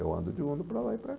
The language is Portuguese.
Eu ando de uno para lá e para cá.